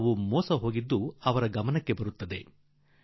ಸ್ವಲ್ಪ ಹೊತ್ತಿನಲ್ಲೇ ಅವರಿಗೆ ಅರಿವಾಯಿತು ತಮ್ಮನ್ನು ಯಾರೂ ಲೂಟಿ ಮಾಡಿಬಿಟ್ಟರು ಎಂದು